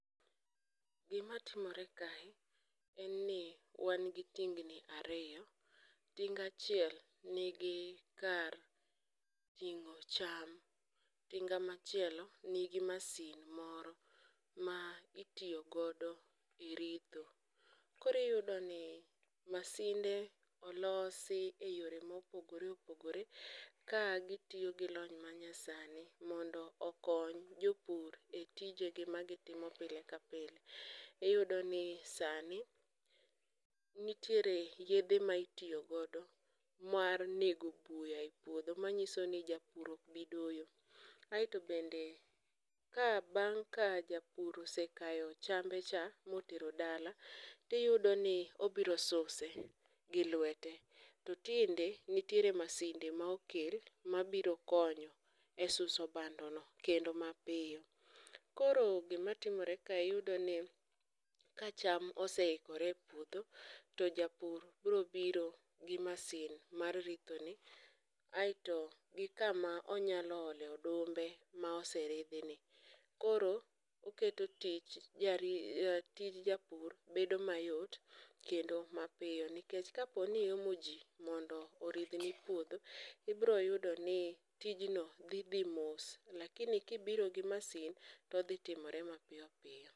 Gimatimore kae en ni wan gi tingni ariyo ,tinga achiel nigi kar ting'o cham, tinga machielo nigi masin moro ma itiyo godo e ritho, koro iyudo ni masinde olosi e yore mopogore opogore ka gitiyo gi lony manyasani mondo okony jopur e tijegi magitimo pile ka pile, iyudoni sani nitiere yedhe ma itiyo godo mar nego buya e puodho manyiso ni japur ok bidoyo, aeto bende ka bang' ka japur osekayo chambecha motero dala, tiyudo i obiro suse gi lwete, to tinde nitiere masinde ma okel mabiro konyo e suso bandono kendo mapiyo, koro gimatimore ka iyudoni ka cham oseikore e puodho, to japur biro biro gi masin mar rithoni aeto gi kama onyalo ole odumbe ma oseridhini, koro oketo tij japur bedo mayot kendo mapiyo nikech kaponi iomo ji mondo oridhni puodho, ibiro yudoni tijno dhi dhi mos lakini kibiro gi masin todhi timore mapiyo piyo.